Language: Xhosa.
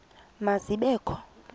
ma zibe kho